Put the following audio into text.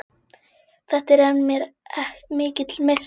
Þetta er mér mikill missir.